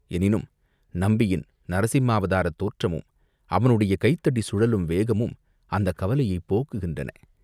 எனினும் நம்பியின் நரசிம்மாவதாரத் தோற்றமும், அவனுடைய கைத்தடி சுழலும் வேகமும் அந்தக் கவலையைப் போக்குகின்றன.